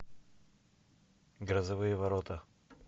грозовые ворота